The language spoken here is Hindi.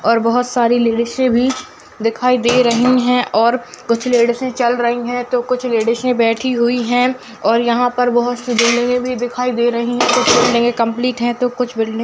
और बहोत सारी लेडीसें भी दिखाई दे रही हैं और कुछ लेडीसें चल रही हैं तो कुछ लेडीसें बैठी हुई हैं और यहाँ पर बहोत से बिल्डिंगें भी दिखाई दे रही हैं कुछ बिल्डिंगें कम्पलीट हैं तो कुछ बिल्डिंग --